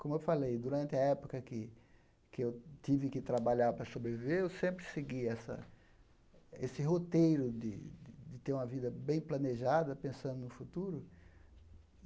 Como eu falei, durante a época que que eu tive que trabalhar para sobreviver, eu sempre segui essa esse roteiro de de de ter uma vida bem planejada, pensando no futuro.